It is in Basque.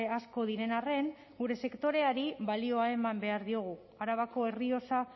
asko diren arren gure sektoreari balioa eman behar diogu arabako errioxa